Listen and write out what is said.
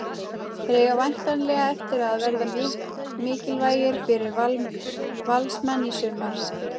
Þeir eiga væntanlega eftir að verða mikilvægir fyrir Valsmenn í sumar.